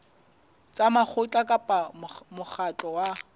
tsa mokgatlo kapa mokgatlo wa